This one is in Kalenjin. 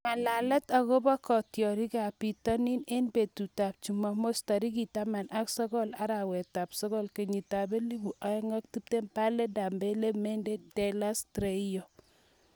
Ng'alalet akobo kitiorikab bitonin eng betutab Jumamos tarik taman ak sokol, arawetab sokol, kenyitab elebu oeng ak tiptem:Bale, Dembele, Mendy, Telles, Traore, Brewster